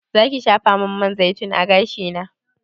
Zaki shafamin man zaitun a gashina?